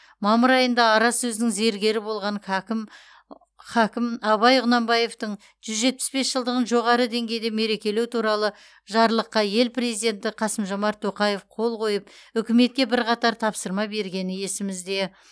мамыр айында ара сөздің зергері болған хакім хакім абай құнанбаевтың жүз жетпіс бес жылдығын жоғары деңгейде мерекелеу туралы жарлыққа ел президенті қасым жомарт тоқаев қол қойып үкіметке бірқатар тапсырма бергені есімізде